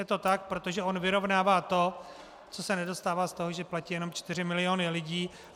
Je to tak, protože on vyrovnává to, co se nedostává z toho, že platí jenom čtyři miliony lidí.